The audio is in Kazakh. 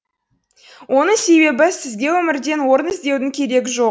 оның себебі сізге өмірден орын іздеудің керегі жоқ